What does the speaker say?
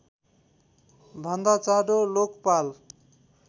भन्दा चाँडो लोकपाल